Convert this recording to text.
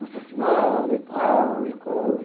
Nossa senhora e tal, e coisa